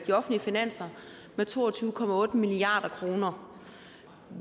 de offentlige finanser med to og tyve milliard kroner